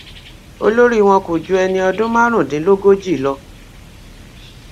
olórí wọn kò ju ẹni ọdún márùndínlógójì lọ